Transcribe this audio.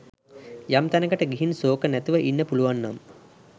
යම් තැනකට ගිහින් ශෝක නැතිව ඉන්න පුළුවන්නම්